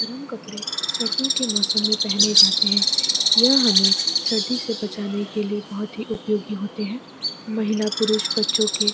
गरम कपड़े सर्दियों के मौसम में पहने जाते हैं यह हमें सर्दी से बचाने के लिए बहुत ही उपयोगी होते हैं महिला पुरुष बच्चों के --